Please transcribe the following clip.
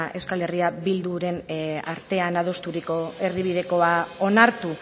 euskal herria bilduren artean adosturiko erdibidekoa onartu